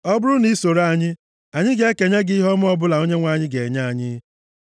Ọ bụrụ na i soro anyị, anyị ga-ekenye gị ihe ọma ọbụla Onyenwe anyị ga-enye anyị.”